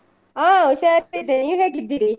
ಹಾ ಹುಷಾರಿದ್ದೇನೆ ನೀವ್ ಹೇಗಿದ್ದೀರಿ?